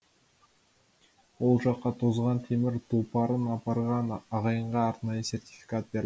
ол жаққа тозған темір тұлпарын апарған ағайынға арнайы сертификат бер